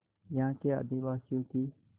यहाँ के आदिवासियों की